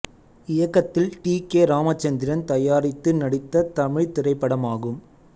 இயக்கத்தில் T K Ramachandran தயாரித்து நடித்த தமிழ்த் திரைப்படமாகும்